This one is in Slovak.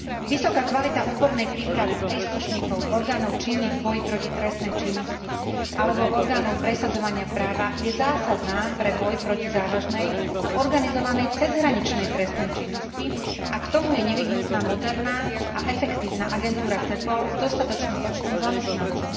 Vysoká kvalita odbornej prípravy príslušníkov orgánov činných v boji proti trestnej činnosti alebo orgánov presadzovania práva je zásadná pre boj proti závažnej a organizovanej cezhraničnej trestnej činnosti a k tomu je nevyhnutná moderná a efektívna agentúra Cepol s dostatočným počtom zamestnancov.